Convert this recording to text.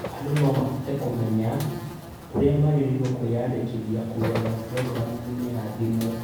Andũ no mahote kũmenya ũrĩa magĩrĩirwo kũĩnyandĩkithia kũgerera purongiramu ya thimũ.